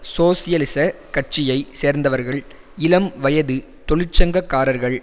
சோசியலிசக் கட்சியை சேர்ந்தவர்கள் இளம் வயது தொழிற்சங்க காரர்கள்